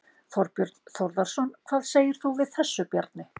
Þorbjörn Þórðarson: Hvað segir þú við þessu, Bjarni?